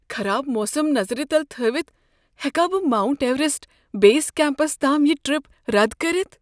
خراب موسم نظر تل تھٲوتھ ہیکا بہٕ ماونٹ ایوریسٹ بیس کمپس تام یہ ٹرٛپ رد کٔرتھ؟